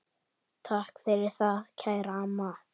Takk fyrir það, kæra amma.